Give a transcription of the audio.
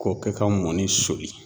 K'o kɛ ka mɔni soli.